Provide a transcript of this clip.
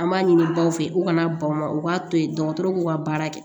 An b'a ɲini baw fɛ u kana bama u k'a to yen dɔgɔtɔrɔw k'u ka baara kɛ